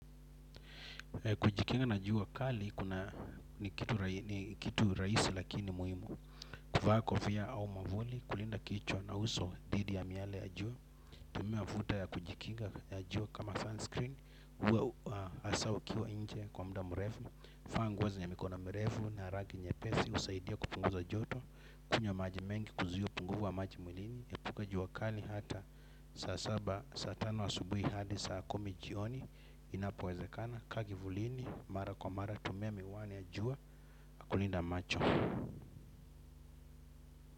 Kujikinga na jua kali ni kitu rahisi lakini nimuhimu. Kuvaa kofia au mwavuli kulinda kichwa na uso dhidi ya miale ya jua. Tumia futa ya kujikinga ya jua kama sunscreen. Uwe hasa ukiwa nje kwa muda mrefu vaanguo zenye mikono mrefu na harangi nye pesi husaidia kupunguza joto. Kunywa maji mengi kuzuia upungufuwa maji mwilini epuka juu wakali hata saasaba saatano asubuhi hadi saa kumijioni inapowezekana kaakivulini mara kwa mara tumia miwani yajua kulinda macho.